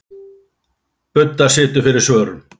Budda situr fyrir svörum.